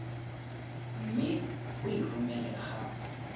mme o e romele ga